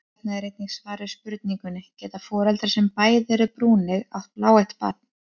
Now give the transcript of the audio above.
Hér er einnig svar við spurningunni: Geta foreldrar sem bæði eru brúneygð átt bláeygt barn?